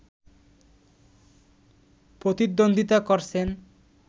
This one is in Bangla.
প্রতিদ্বন্দ্বীতা করছেন